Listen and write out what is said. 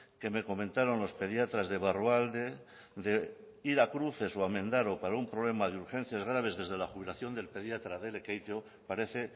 que me comentaron los pediatras de barrualde de ir a cruces o a mendaro para un problema de urgencias graves desde la jubilación del pediatra de lekeitio parece